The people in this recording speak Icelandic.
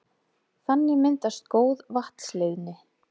Þannig myndast góð vatnsleiðni.